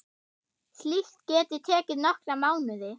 Slíkt geti tekið nokkra mánuði.